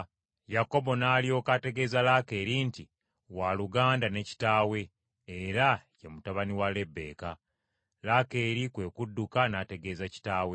Yakobo n’alyoka ategeeza Laakeeri nti, waluganda ne kitaawe, era ye mutabani wa Lebbeeka. Laakeeri kwe kudduka n’ategeeza kitaawe.